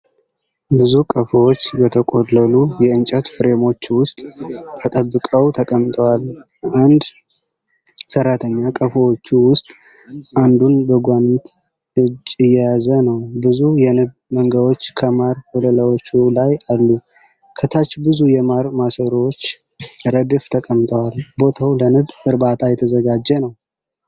ብዙ ቀፎዎች በተቆለሉ የእንጨት ፍሬሞች ውስጥ ተጠብቀው ተቀምጠዋል። አንድ ሰራተኛ ከቀፎዎቹ ውስጥ አንዱን በጓንት እጅ እየያዘ ነው። ብዙ የንብ መንጋዎች ከማር ወለላዎቹ ላይ አሉ። ከታች ብዙ የማር ማሰሮዎች ረድፍ ተቀምጠዋል። ቦታው ለንብ እርባታ የተዘጋጀ ነው።